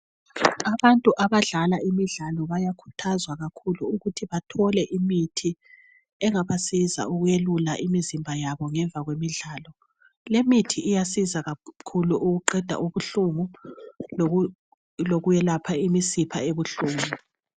Abantu abadlala imidlalo bayakhuthazwa kakhulu ukuthi bathole imithi engabasiza ukuyelula imizimba yabo ngemva kwemidlalo. Lemithi iyasiza kakhulu ukuqeda ubuhlungu lokwelapha imisipha ebuhlungu.